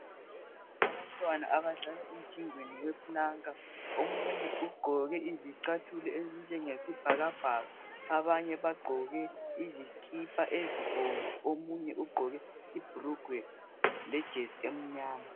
Abantwana abahlala emthimbeni weplanka omunye ugqoke izicathulo ezinjengesibhakabhaka abanye bagqoke izikipa ezibomvu omunye ugqoke ibhulugwe lejesi emnyama